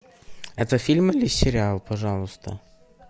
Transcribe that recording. это фильм или сериал пожалуйста